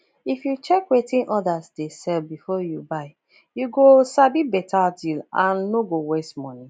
if you check wetin others dey sell before you buy you go sabi better deal and no go waste money